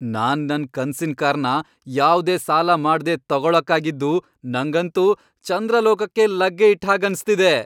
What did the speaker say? ನಾನ್ ನನ್ ಕನ್ಸಿನ್ ಕಾರ್ನ ಯಾವ್ದೇ ಸಾಲ ಮಾಡ್ದೆ ತಗೊಳಕ್ಕಾಗಿದ್ದು ನಂಗಂತೂ ಚಂದ್ರಲೋಕಕ್ಕೇ ಲಗ್ಗೆ ಇಟ್ಟ್ ಹಾಗ್ ಅನ್ಸ್ತಿದೆ.